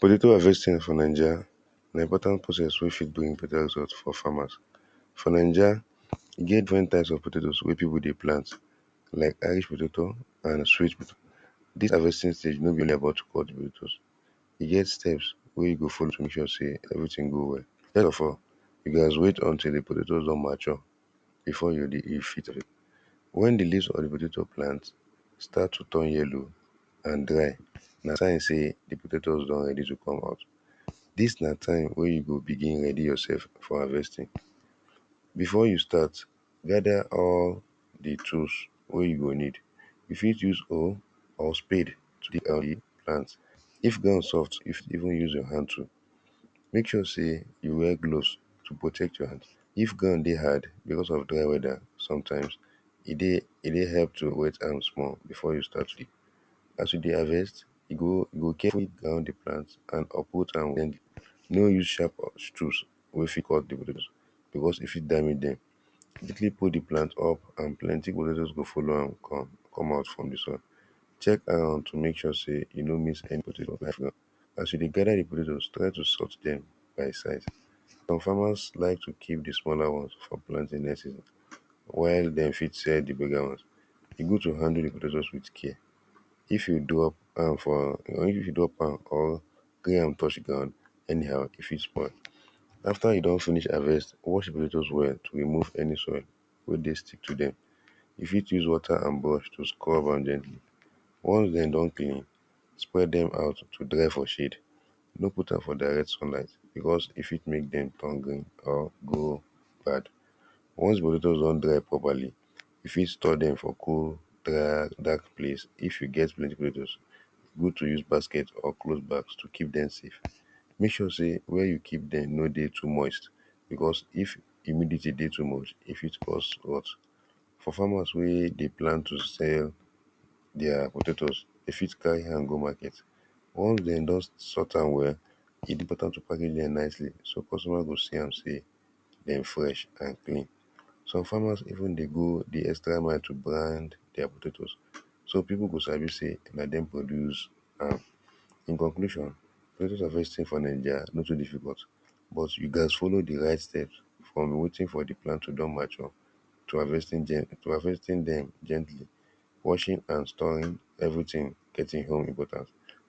Potato harvesting for ninja na important process wey dey important for farmers. For ninja, e get different type of potato wey dey, we get irish potato and sweet potato. Dis harvesting e no let e get steppes wey you go follow to mek sure sey everything go well. First of all, You gats wait until di potato don mature befire yu go but wen di laves start to turn yellow anddry, na sign sey di potatoes don ready to come out. Dis na time wey you go begin ready yourself for harvesting. If you won start, gather all di tools wey you go use if wan soft, use more too, mek sure sey you war gloves to protect your hand, if ground dey hard becaue of dry as you dey harvest, you carefully uproot am, no use sharp tools, wey fit cause once e fit die, pull di plant up and plenty potatoes go follow am come out. Check am to mek sure sey you no iss any potato for ground. As you dey gather di potato, try to sort dem by size. Some fmer like to keep di smallr ones for next season while de fit sell di bigger won. Di which have handle di with care, if you drop am or wear am or touch am anyhow if e spoil wey dey stick to dem, you ft use rubber and ones de don clean, spread dem to dry for shade. No put am for direct sunlight because e fit mek dem turn green or go bad. When e don dry properly, you fit store dm for cold dark place itf you get plenty pipu wey, you use basket or bag tokeep dem save. Mek sure sey where you keep dem e nor dey too much e fit. For farmers wey dey plan to sell their potatoes, you fit carry am go market. Suppose no go see am sey dem fresh some farmers wey dey go di so pipu go sabi sey na dem do dis. Recognition you gats follow di right step on wetin for di plant to mature, to harvest gently, washing and storing everything,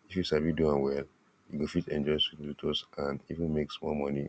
you sabi doam well, and even mek small moni.